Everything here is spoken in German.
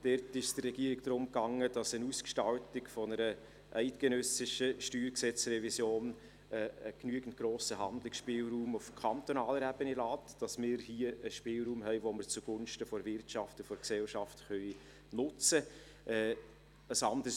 Dort ging es der Regierung darum, dass eine Ausgestaltung einer eidgenössischen Steuergesetzrevision einen genügend grossen Handlungsspielraum auf kantonaler Ebene lässt, dass wir hier einen Spielraum haben, den wir zugunsten der Wirtschaft und der Gesellschaft nutzen können.